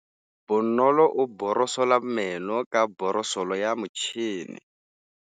Bonolô o borosola meno ka borosolo ya motšhine.